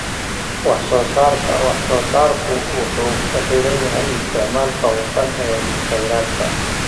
Wax-soo-saarka wax-soo-saarku wuxuu ku xiran yahay isticmaalka hufan ee kheyraadka.